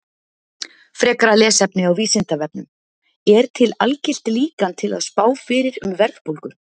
Frekara lesefni á Vísindavefnum: Er til algilt líkan til að spá fyrir um verðbólgu?